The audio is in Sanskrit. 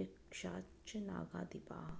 यक्षाश्च नागाधिपाः